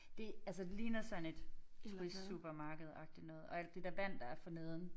Det altså det ligner sådan et turistsupermarkedagtigt noget og alt det der vand der er forneden